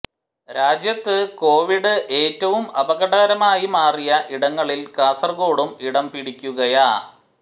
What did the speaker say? രാജ്യത്ത് കോവിഡ് ഏറ്റവും അപകടകരമായി മാറിയ ഇടങ്ങളിൽ കാസർകോടും ഇടം പിടിക്കുകയാ